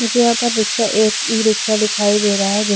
मुझे यहा पर रिक्शा एक ई रिक्शा दिखाई दे रहा है जिस--